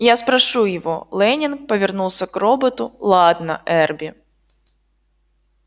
я спрошу его лэннинг повернулся к роботу ладно эрби